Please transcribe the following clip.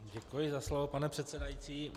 Děkuji za slovo, pane předsedající.